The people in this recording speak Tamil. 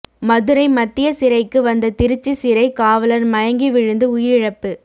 மதுரை மத்திய சிறைக்கு வந்த திருச்சி சிறை காவலர் மயங்கி விழுந்து உயிரிழப்பு